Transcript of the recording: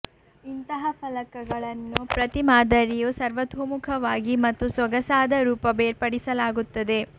ಇಂತಹ ಫಲಕಗಳನ್ನು ಪ್ರತಿ ಮಾದರಿಯು ಸರ್ವತೋಮುಖವಾಗಿ ಮತ್ತು ಸೊಗಸಾದ ರೂಪ ಬೇರ್ಪಡಿಸಲಾಗುತ್ತದೆ